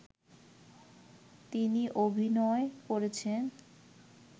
তিনি অভিনয় করেছেন